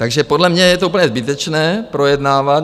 Takže podle mě je to úplně zbytečné projednávat.